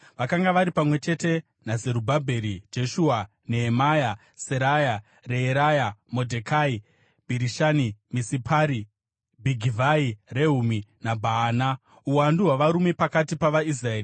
vakanga vari pamwe chete naZerubhabheri, Jeshua, Nehemia, Seraya, Reeraya, Modhekai, Bhirishani, Misipari, Bhigivhai, Rehumi naBhaana): Uwandu hwavarume pakati pavaIsraeri: